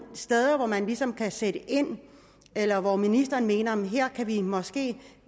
steder hvor man ligesom kan sætte ind eller hvor ministeren mener vi måske